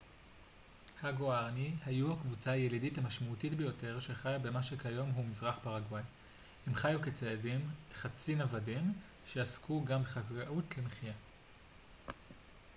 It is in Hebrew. הגוארני היו הקבוצה הילידית המשמעותית ביותר שחיה במה שכיום הוא מזרח פרגוואי הם חיו כציידים חצי-נוודים שעסקו גם בחקלאות למחייה